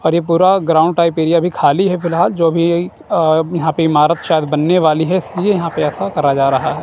और ये पूरा ग्राउंड टाइप एरिया भी खाली है फिलहाल जो भी यहां पे इमारत शायद बनने वाली है इसलिए यहां पे ऐसा करा जा रहा है।